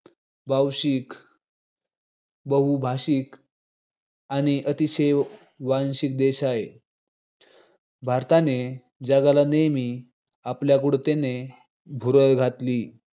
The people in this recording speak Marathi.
बहुषिक बहुभाषिक आणि अतिशय वांशिक देश हाय. भारताने जगाला नेहमीच आपल्या गूढतेने भुरळ घत